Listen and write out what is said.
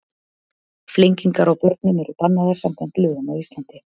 Flengingar á börnum eru bannaðar samkvæmt lögum á Íslandi.